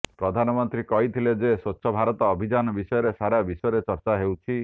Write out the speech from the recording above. ପ୍ରଧାନମନ୍ତ୍ରୀ କହିଥିଲେ ଯେ ସ୍ୱଚ୍ଛ ଭାରତ ଅଭିଯାନ ବିଷୟରେ ସାରା ବିଶ୍ୱରେ ଚର୍ଚ୍ଚା ହେଉଛି